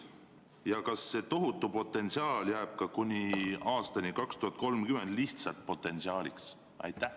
Ja kas see tohutu potentsiaal jääb ka kuni aastani 2030 lihtsalt potentsiaaliks?